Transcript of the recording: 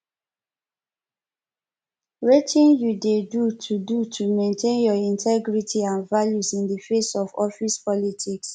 wetin you dey do to do to maintain your integrity and values in di face of office politics